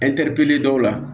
dɔw la